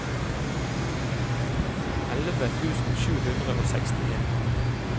elleve tusen sju hundre og sekstien